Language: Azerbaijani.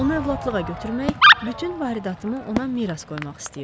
Onu övladlığa götürmək, bütün varidatımı ona miras qoymaq istəyirdim.